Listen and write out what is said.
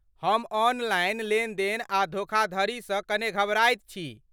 हम ऑनलाइन लेन देन आ धोखाधड़ी सँ कने घबराइत छी।